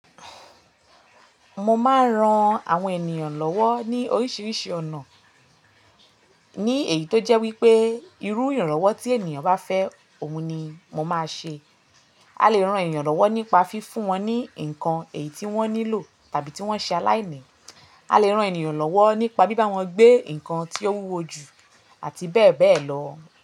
Mo máa ń ran àwọn ènìyàn lọ́wọ́ ní oríṣiríṣi ọ̀nà, ní èyí tó jẹ́ wípé irú ìrànlọ́wọ́ tí ènìyàn bá fẹ́, òhun ni mo máa ṣe. A lè ran ènìyàn lọ́wọ́ nípa fi fún wọn ní ǹkan èyí tí wọ́n nílò tàbí tí wọ́n ṣe aláìní. A lè ran ènìyàn lọ́wọ́ nípa bíbá wọn gbé ǹkan tí ó wúwo jù àti bẹ́ẹ̀ bẹ́ẹ̀ lọ.